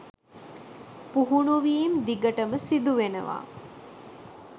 පුහුණුවීම් දිගටම සිදුවෙනවා.